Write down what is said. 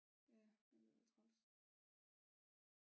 Ja det ved at være træls